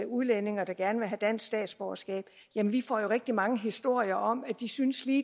udlændinge der gerne vil have dansk statsborgerskab får rigtig mange historier om at de synes de